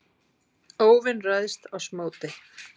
óvin ræðst oss móti.